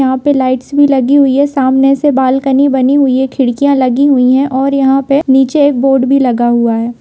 यहाँ पे लाइट्स भी लगी हुई हैं सामने से बालकनी बनी हुई है खिड़कियाँ लगी हुई हैं और यहाँ पे नीचे एक बोर्ड भी लगा हुआ है।